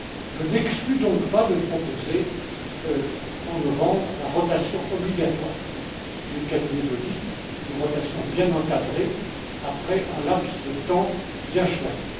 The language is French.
Je n'exclus donc pas de proposer, en novembre, la rotation obligatoire du cabinet d'audit, une rotation bien encadrée, après un laps de temps bien choisi.